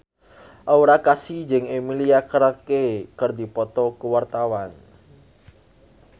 Aura Kasih jeung Emilia Clarke keur dipoto ku wartawan